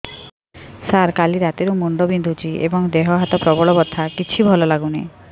ସାର କାଲି ରାତିଠୁ ମୁଣ୍ଡ ବିନ୍ଧୁଛି ଏବଂ ଦେହ ହାତ ପ୍ରବଳ ବଥା କିଛି ଭଲ ଲାଗୁନି